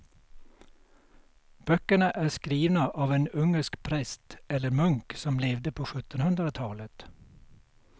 Böckerna är skrivna av en ungersk präst eller munk som levde på sjuttonhundratalet.